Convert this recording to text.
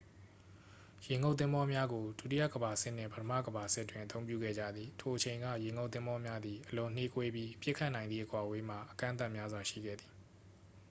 ရေငုပ်သင်္ဘောများကို ဒုတိယကမ္ဘာစစ်နှင့် ပထမကမ္ဘာစစ်တွင် အသုံးပြုခဲ့ကြသည် ထိုအချိန်က ရေငုပ်သင်္ဘောများသည် အလွန်နှေးကွေးပြီး ပစ်ခတ်နိုင်သည့် အကွာအဝေးမှာ အကန့်အသတ်များရှိခဲ့သည်